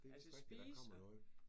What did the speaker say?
Det vist rigtigt der kommer noget